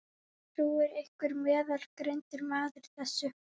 Trúir einhver meðalgreindur maður þessu?